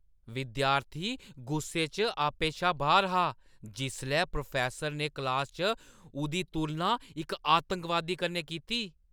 विद्यार्थी गुस्से च आपे शा बाह्‌र हा जिसलै प्रोफैस्सर ने क्लासा च उʼदी तुलना इक आतंकवादी कन्नै कीती।